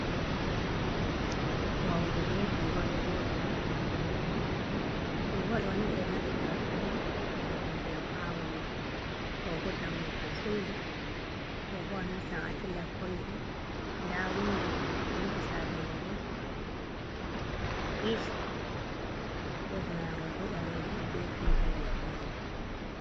Wauru be guga do jooɗi ha kombi mai guugo dooni ɓe do naftira ɗum on yeɗu go ndiyam ha wauru ɗo bo dammugal suudu ɗo bo anassan adilla korido da windo penti sare mai bo, pich les maagol bo baleejum be didiwol danejun.